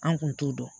An kun t'o dɔn